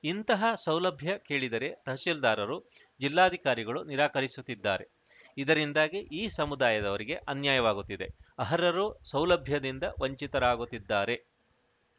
ಇಂತಹ ಸೌಲಭ್ಯ ಕೇಳಿದರೆ ತಹಸೀಲ್ದಾರರು ಜಿಲ್ಲಾಧಿಕಾರಿಗಳು ನಿರಾಕರಿಸುತ್ತಿದ್ದಾರೆ ಇದರಿಂದಾಗಿ ಈ ಸಮುದಾಯದವರಿಗೆ ಅನ್ಯಾಯವಾಗುತ್ತಿದೆ ಅರ್ಹರು ಸೌಲಭ್ಯದಿಂದ ವಂಚಿತರಾಗುತ್ತಿದ್ದಾರೆ